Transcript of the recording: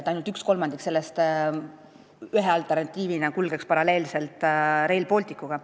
Aga ainult 1/3 sellest kulgeks ühe alternatiivina paralleelselt Rail Balticuga.